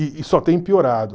E e só tem piorado.